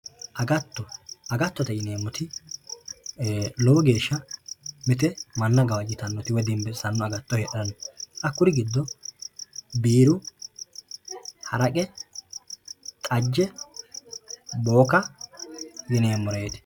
agatto agattote yinemmoti lowo geeshsha manna gawajjitannote woye dinbissanote hakkuri giddo biiru xajje haraqe booka yineemmoreeti